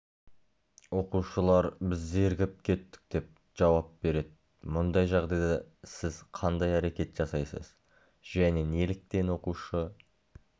оқушылар біз зерігіп кеттік деп жауап береді мұндай жағдайда сіз қандай әрекет жасайсыз және неліктен оқушы